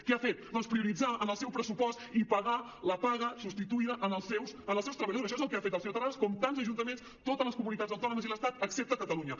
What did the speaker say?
què ha fet doncs prioritzar en el seu pressupost i pagar la paga substituïda als seus treballadors això és el que ha fet el senyor terrades com tants ajuntaments totes les comunitats autònomes i l’estat excepte catalunya